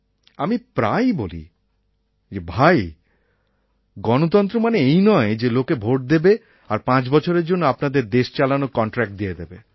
আমি প্রায়ই বলি যে ভাই গণতন্ত্র মানে এই নয় যে লোকে ভোট দেবে আর পাঁচ বছরের জন্য আপনাদের দেশ চালানোর কন্ট্র্যাক্ট দিয়ে দেবে